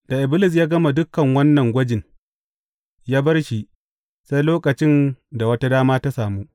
Da Iblis ya gama dukan wannan gwajin, ya bar shi sai lokacin da wata dama ta samu.